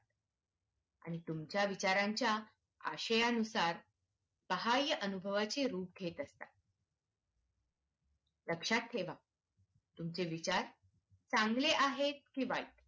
आणि तुमच्या विचारांच्या आयष्यानुसार बाहयनुभवाचे रूप घेत असतात लक्षात ठेवा तुमचे विचार चांगले आहेत हि